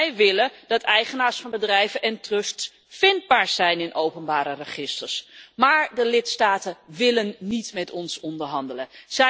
Wij willen dat eigenaars van bedrijven en trusts vindbaar zijn in openbare registers, maar de lidstaten willen niet met ons onderhandelen.